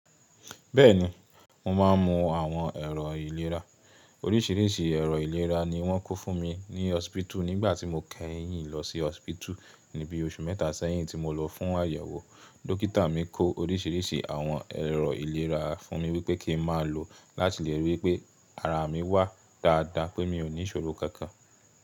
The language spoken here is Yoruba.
Bẹ́ẹ̀ni, mo máa ń mu àwọn ẹ̀rọ ìlera. Oríṣìíríṣìí ẹ̀rọ ìlera ni wọ́n kó fún mi ní hospital nígbà tí mo kẹ́yìn lọ sí hospital ní bí i oṣù mẹ́ta sẹ́yìn tí mo lọ fún àyẹ̀wò. Dókítà mi kó oríṣìíríṣìí àwọn ẹ̀rọ ìlera fún mi wípé kí n máa lo o láti lè rí pé ara mi wà dáadáa pé mi ò níṣòro kankan.